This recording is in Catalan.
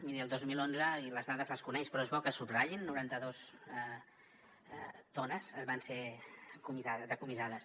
miri el dos mil onze i les dades les coneix però és bo que es subratllin noranta dues tones van ser decomissades